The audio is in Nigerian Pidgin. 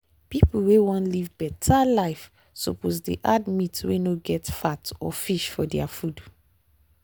people wey wan live better life suppose dey add meat wey no get fat or fish for their food.